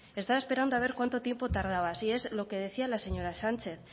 estaba esperando a ver cuánto tiempo tardabas y es lo que decía la señora sánchez